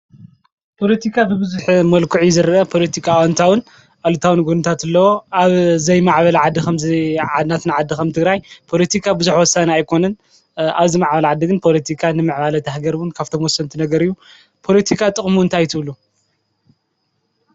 ፖለቲካ ብብዙሕ መልክዑ እዩ ዝረአ፡፡ ፖሎቲካ ኣወንታውን ኣሉታውን ጕንታት ኣለዎ፡፡ ኣብ ዘይማዕበላ ዓዲ ኸም ናትና ዓዲ ኸም ትግራይ ፖሎቲካ ብዙሐ ወሳኒ ኣይኮነን ኣብ ዝማዕባላ ዓዲ ግን ፖሎቲካ ንምዕባላ አታ ሃገር ካብቶም ወሰንቲ ነገር እዩ፡፡ ፖሎቲካ ጥቕሙ እንታይ እዩ ትብሉ?